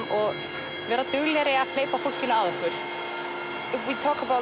og vera duglegri að hleypa fólkinu að